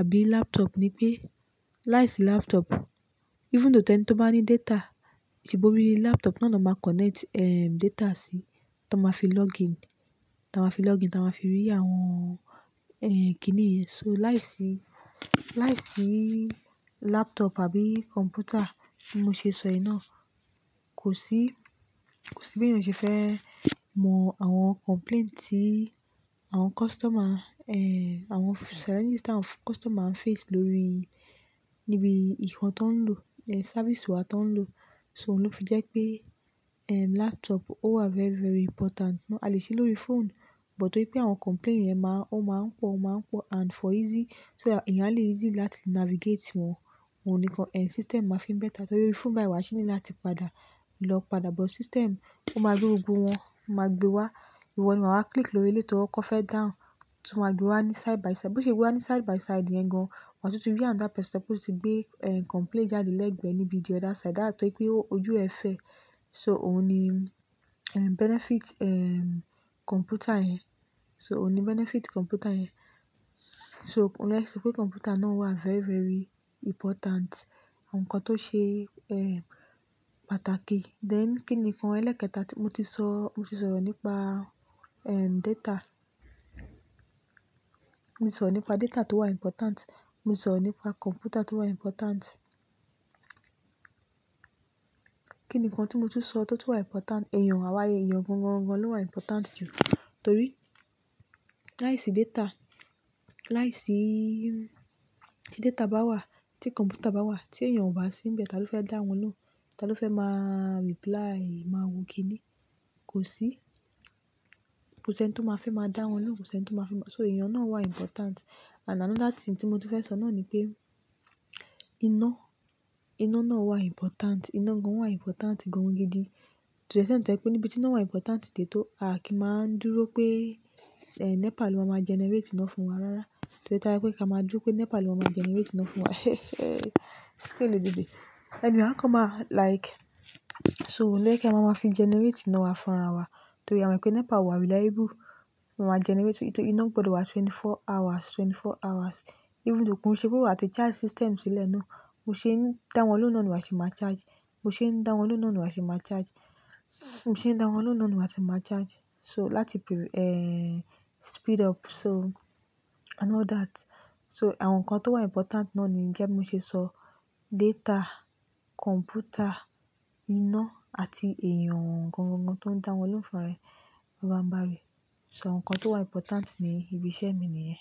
àbí laptop ni pé láìsí laptop, even though tẹ́ní tó bá ní data, ìṣìbọrí laptop náà ni ọ máa connect, eh, data sí, tí wọ́n ma fi login, tí wọ́n ma fi login, tí wọ́n ma fi rí àwọn, ehn, kíni yẹn. So láìsí, láìsí laptop àbí computer tí mo ṣe sọ yìí náà, kò sí, kò sí bí èèyàn ṣe fẹ́ mọ àwọn complaint tí àwọn customer, àwọn challenges táwọn customer ń face lórí níbi ìkan tó ń lò, sẹ́rvisì wa tó ń lò. So ló fi jẹ́ pé, eh, laptop ó wà very, very important. A lè ṣe lórí phone, but torí pé àwọn complaint yẹn máa, ó máa ń pọ̀, ó máa ń pọ̀ and for easy, so that eyàn a lè easy láti navigate wọn, òun nìkan, system máa fi ń better. Torí pé phone báyi wà ṣíní láti padà, lọ padà, but system ó máa gbé orúkọ wọn, ó máa gbé wá, ìwọ ni màá máa click lórí létí wọn kọ́ fẹ́ down, tún wọ́n gbé wá ní side by side. Bo ṣe gbé wá ní side by side yẹn gan-an, wàtún ti rí àwọn another táa sẹ́pòṣì gbé, eh, complaint jáde lẹ́gbẹ̀ẹ́ níbi the other side. That's why pé ojú ẹ fẹ́. So òun ni, eh, benefit, eh, computer yẹn. So òun ni benefit computer yẹn. So óun lo ye ki sọ pé computer náà wà very, very important. Àwọn nǹkan tó ṣe, pàtàkì. Then kí ni nǹkan ẹlẹ́kẹta tí mo ti sọ? Mo ti sọ nípa, data. Mo sọ nípa data tó wà important. Mo sọ nípa computer tó wà important. Kí ni nǹkan tí mo ti sọ tó tún wà important? Ẹ̀yàn, àwa ẹ̀yàn gan-an-gan ló wà important jù torí láìsí data, láìsí-- tí data bá wà, tí computer bá wà, tí ẹ̀yàn ò bá sí níbẹ̀, tá ló fẹ́ dá wọn lóhùn? Tá ló fẹ́ má reply, má wo kíni? Kò sí. Kò sí ẹni tí ó máa fẹ́ má dá wọn lóhùn, kò sí ẹni tí ó máa fẹ́ má-- so ẹ̀yàn náà wà important. And another thing tí mo ti fẹ́ sọ náà ni pé iná, iná náà wà important. Iná gan wà important gan-an gidi. To the extent to ye pe níbi tí iná wà important tètó, à kí máa ń dúró pé, NEPA ló máa má generate iná fún wa rárá. Torí tá'ba pé kí a máa dúró pé NEPA ló máa má generate iná fún wa. Ṣé kò lè dédé? À ko máa like-- so òun yẹ kí a máa má fi generate iná wa fún ara wa torí à mo ìpẹ́ NEPA ò wà reliable. Wọn má generate, torí iná gbọdọ̀ wà mẹ́rìnlélógún hours, mẹ́rìnlélógún hours. Even though kí n ṣe pe wà ti charge system sílẹ̀ ná. Bo ṣe ń dá wọn lóhùn ní ìwà ṣe máa charge. Mo ṣe ń dá wọn lóhùn ní ìwà ṣe máa charge. Mo ṣe ń dá wọn lóhùn ní ìwà ṣe máa charge. So láti per-- eh, speed up so and all that. So àwọn nǹkan tó wà important náà ni jẹ́ mó ṣe sọ data, computer, iná àti ẹ̀yàn gan-an-gan tó ń dá wọn lóhùn fúnra ẹ. Bà bà n bà rii. So àwọn nǹkan tó wà important ní ibi iṣẹ́ mi nìyẹn.